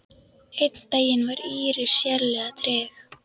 Einn daginn var Íris sérlega treg.